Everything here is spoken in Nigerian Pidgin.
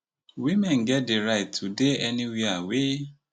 women get di right to dey anywia wey